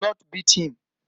Do not beat him.